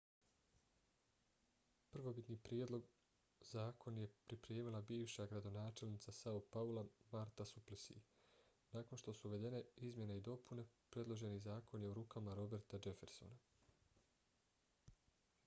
prvobitni prijedlog zakon je pripremila bivša gradonačelnica são paula marta suplicy. nakon što su uvedene izmjene i dopune predloženi zakon je u rukama roberta jeffersona